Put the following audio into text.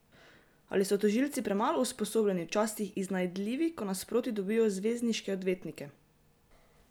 Ali so tožilci premalo usposobljeni, včasih iznajdljivi, ko nasproti dobijo zvezdniške odvetnike?